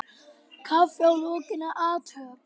Kaffi að lokinni athöfn.